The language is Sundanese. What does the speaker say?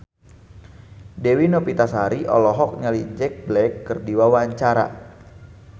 Dewi Novitasari olohok ningali Jack Black keur diwawancara